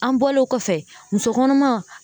An bɔlen ɔ kɔfɛ, muso kɔnɔma.